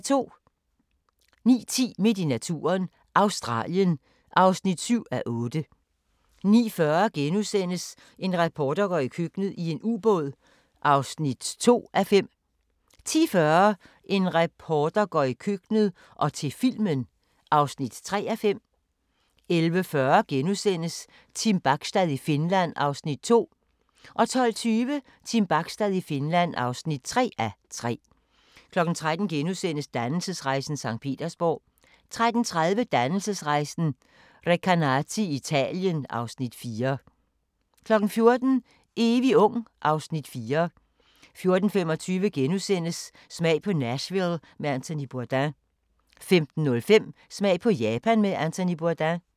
09:10: Midt i naturen – Australien (7:8) 09:40: En reporter går i køkkenet - i en ubåd (2:5)* 10:40: En reporter går i køkkenet – og til filmen (3:5) 11:40: Team Bachstad i Finland (2:3)* 12:20: Team Bachstad i Finland (3:3) 13:00: Dannelsesrejsen - Sankt Petersborg * 13:30: Dannelsesrejsen - Recanati i Italien (Afs. 4) 14:00: Evig ung (Afs. 4) 14:25: Smag på Nashville med Anthony Bourdain * 15:05: Smag på Japan med Anthony Bourdain